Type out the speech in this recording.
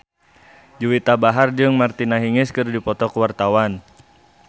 Juwita Bahar jeung Martina Hingis keur dipoto ku wartawan